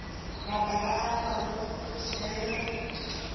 mabaka a mangwe ke fela